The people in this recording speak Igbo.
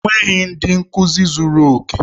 Enweghị ndị nkuzi zuru oke.